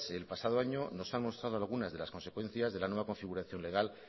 el pasado año nos han mostrado algunas de las consecuencias de la nueva configuración legal